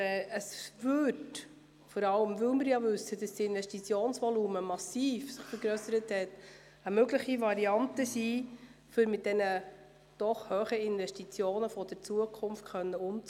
Da wir wissen, dass sich das Investitionsvolumen massiv vergrössert hat, wäre dies eine mögliche Variante, um mit den hohen Investitionen der Zukunft umzugehen.